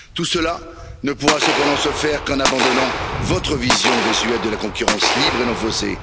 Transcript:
Tout cela ne pourra cependant se faire qu'en abandonnant votre vision désuète de la concurrence libre et non faussée.